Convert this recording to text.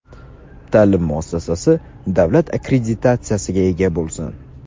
ta’lim muassasasi davlat akkreditatsiyasiga ega bo‘lsin.